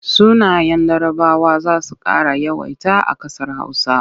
Sunayen Larabawa za su ƙara yawaita a ƙasar Hausa.